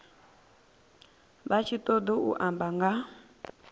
vha tshi ṱoḓou amba nga